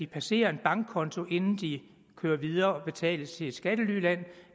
passere en bankkonto inden de kører videre og betales til et skattelyland